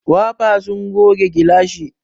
Wafa sun goge gilashin.